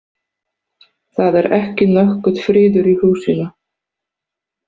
Það er ekki nokkur friður í húsinu.